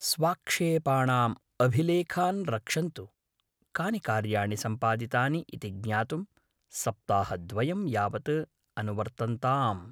स्वाक्षेपाणाम् अभिलेखान् रक्षन्तु, कानि कार्याणि सम्पादितानि इति ज्ञातुं, सप्ताहद्वयं यावत् अनुवर्तन्ताम्।